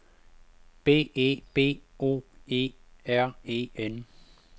B E B O E R E N